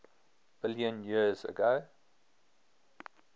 billion years ago